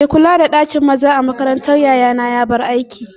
Mai kula da ɗakin maza makarantar yayana ya bar aiki